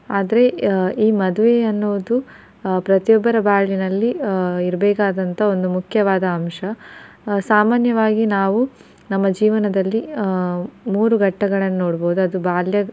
ಆದ್ರೆ ಈ ಮದ್ವೆ ಅನ್ನೋದು ಆ ಪ್ರತಿಯೊಬ್ಬರ ಬಾಳಿನಲ್ಲಿ ಆ ಇರಬೇಕಾದಂತ ಒಂದು ಮುಖ್ಯವಾದ ಅಂಶ ಸಾಮಾನ್ಯವಾಗಿ ನಾವು ನಮ್ಮ ಜೀವನದಲ್ಲಿ ಆ ಮೂರು ಘಟ್ಟಗಳನ್ನು ನೋಡಬಹುದು ಅದು ಬಾಲ್ಯ.